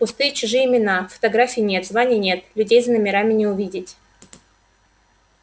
пустые чужие имена фотографий нет званий нет людей за номерами не увидеть